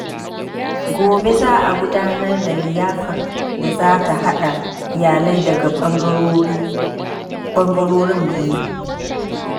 Gobe za a gudanar da liyafar da za ta haɗa iyalai daga bangarorin biyu.